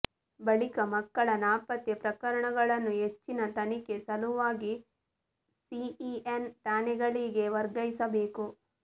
ಬಳಿಕ ಮಕ್ಕಳ ನಾಪತ್ತೆ ಪ್ರಕರಣಗಳನ್ನು ಹೆಚ್ಚಿನ ತನಿಖೆ ಸಲುವಾಗಿ ಸಿಇಎನ್ ಠಾಣೆಗಳಿಗೆ ವರ್ಗಾಯಿಸಬೇಕು